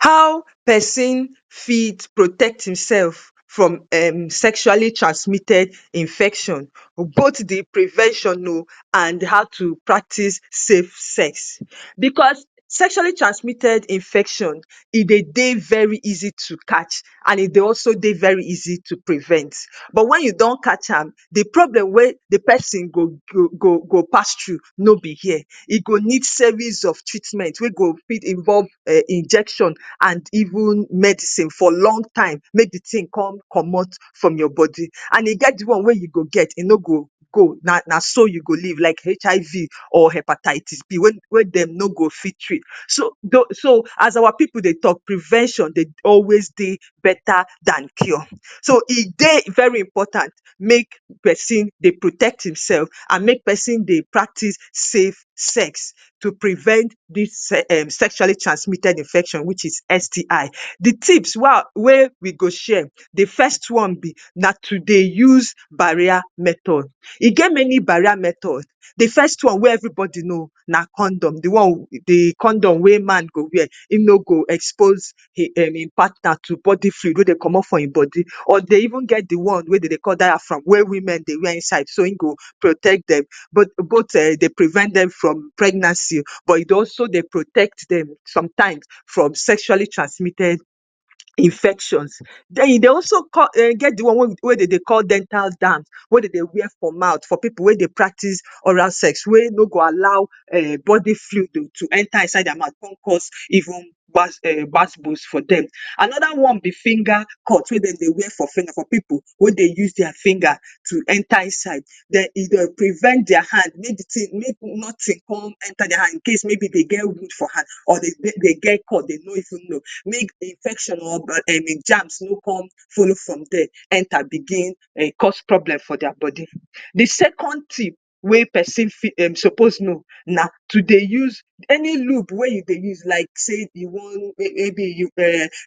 How pesin fit protect himself from um sexually transmitted infection? Both the prevention oh and how to practice safe sex. Because sexually transmitted infection, e dey dey very easy to catch and e dey also dey very easy to prevent. But when you don catch am, the problem wey the pesin go go go pass through no be here. E go need series of treatments wey go fit involve um injection and even medicine for long time make the thing con comot from your body. And e get the one wey you go get, e no go go. Na so you go live like HIV or Hepatitis B, wey wey dem no go fit treat. So doh so as our pipu dey talk prevention dey always dey better dan cure. So, e dey very important make pesin dey protect himself and make peson dey practice safe sex to prevent dis um sexually transmitted infection, which is STI. The tips wey i wey we go share, the first one be na to dey use barrier method. E get many barriers method. The first one wey everybody know na condom. The one the condom wey man go wear, e no go expose e um e partner to body fluid wey dey comot from e body. Or dey even get the one wey de dey call diaphragm, wey women dey wear inside, so e go protect dem. But both um dey prevent dem from pregnancy, but e dey also dey protect dem sometimes from sexually transmitted infections. Den e dey also get the one wey de dey call dental dam, wey de dey wear for mouth, for people wey dey practice oral sex, wey no go allow um body fluid to to enter inside their mouth con cause even gbas um gbas gbos for dem. Another one be finger cut wey de dey wear for finger, for pipu wey dey use their finger to enter inside. Den e dey prevent their hand make the thing make nothing con enter their hand, in case maybe they get wound for hand, or they they get cut, they no even know. Make infection or um jams, no come follow from dere, enter, begin um cause problem for their body. The second tip wey pesin fit um suppose know na to dey use any lube wey you dey use like sey you wan um maybe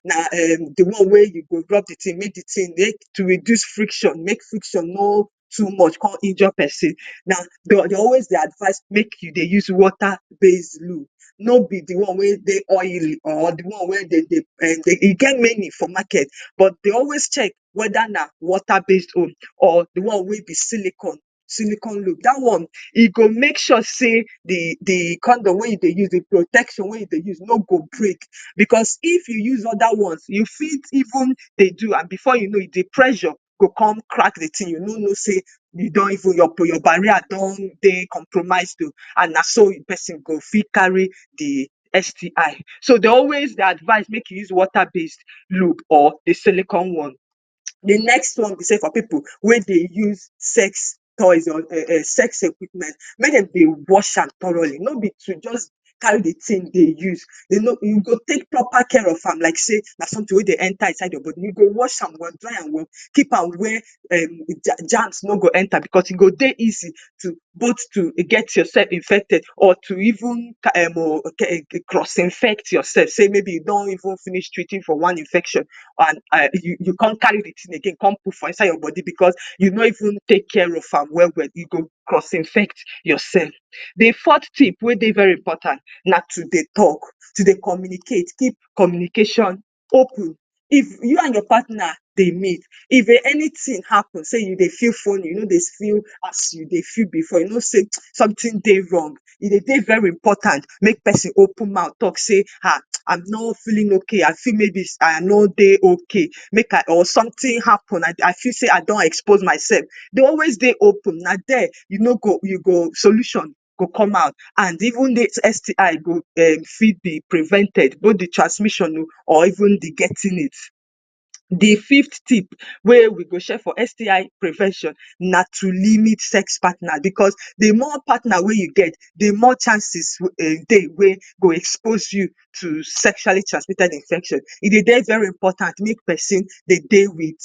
na um um the one wey you go rub the thing make the thing um to reduce friction, make um for no too much, con injure person. Na de de always the advice, make you dey use water-based lube, no be the one wey dey oily or the one wey de dey um. E get many for market, but dey always check whether na water-based lube, or the one wey be silicone, silicone lube. Dat one, e go make sure sey, the, the condom wey you dey use, the protection wey you dey use, no go break, because if you use other ones, you fit even dey do, and before you know it, the pressure, go come, crack the thing, you no know, sey, you don even, your, your barrier, don dey compromise too and na so pesin go fit carry the STI. So dey always dey advice, make you use water-based lube or the silicone one. The next one be sey for pipu wey dey use sex toys or [um]sex equipment/ Make de dey wash am thoroughly no be to just carry the thing dey use. Youn know, you go take proper care of am like say na something wey dey enter inside your body. You go wash am well, dry am well, keep am where um the germ germs no go enter, because e go dey easy to, both to e get yourself infected, or to even um cross-infect yourself, sey, maybe you don even finish treating for one infection, and um you con carry the thing again con put for inside your body, because you no even take care of am well well, you go cross-infect yourself. The fourth tip wey dey very important na to dey talk, to dey communicate, keep communication open. If you and your partner dey meet, if um anything happens, sey, you dey feel funny, you no dey feel as you dey feel before, you know sey [hiss] something dey wrong. E dey dey very important, make person open mouth talk sey, ha! I'm no feeling okay. I feel maybe, I no dey okay. Make I or something happen. I I feel sey I don expose myself, dey always dey open. Na dere, you no go, you go, solution, go come out, and even the STI go um fit be prevented, both the transmission oh or even the getting it. The fifth tip wey we go share for STI prevention na to limit sex partner, because the more partner wey you get, the more chances um e dey wey go expose you to sexually transmitted infection. E dey very important, make pesinn, dey dey with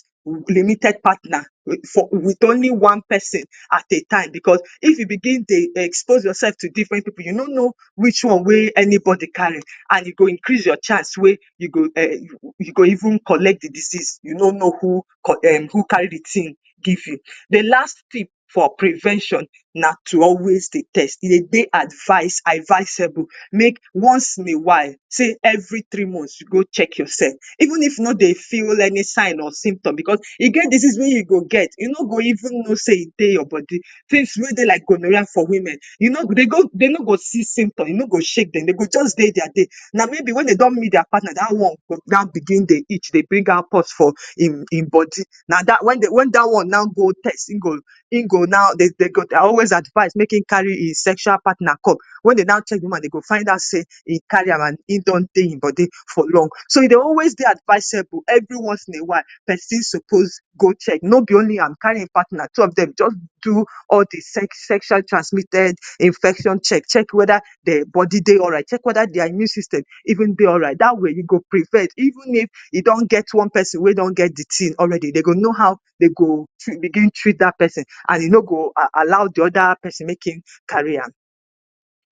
limited partner, with for with only one pesin at a time, because if you begin dey expose yourself to different pipu, you no know which one wey anybody carry, and you go increase your chance wey you go um you go even collect the disease. You no know who um who carry the thing give you. The last tip for prevention na to always dey test. E dey advice, advisable, make once in a while, sey, every three months, you go check yourself, even if you no dey feel any sign or symptom, because e get disease wey you go get, you no go even know sey e dey your body. Things wey dey like gonorrhea for women, you no gree you go de no go see symptom, you no go shake dem, they go just dey their day. Na maybe when they don meet their partner, dat one, go na begin dey itch, dey bring out pulse for im im body. Na dat when de when de dat one na go test, e go, go now, de de, I always advise, make e carry e sexual partner come. When they now check the woman, de go find out sey e carry am. E don dey e body for long. So, e dey always dey advisable, every once in a while, pesin supposed, go check, no be only am carry e partner, two of dem, just do all the sexually transmitted infection check. Check whether their body dey alright, check whether their immune system, even dey right. Dat way, you go prevent, even if you don get one pesin, wey don get the thing already. They go know how, they go begin treat dat pesin, and you no go allow the other pesin make e carry am.